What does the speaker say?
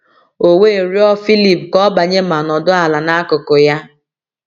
O we rịọ Filip ka ọ banye ma nọdụ̀ ala n’akụkụ ya.”